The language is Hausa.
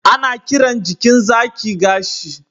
ana kiran jikin zaki gashi